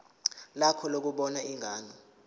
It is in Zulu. lakho lokubona ingane